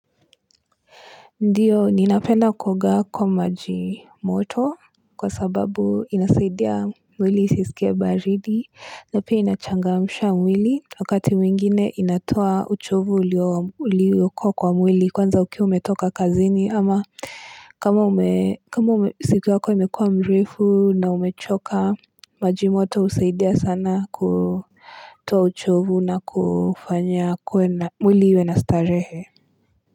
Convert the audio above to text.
Ndiyo, ninapenda kuoga kwa maji moto kwa sababu inasaidia mwili isisikie baridi, na pia inachangamsha mwili wakati mwingine inatoa uchovu ulio ulioko kwa mwili kwanza ukiwa umetoka kazini kama ume kama ume siku yako imekuwa mrefu na umechoka, maji moto husaidia sana kutoa uchovu na kufanya mwili iwe na starehe.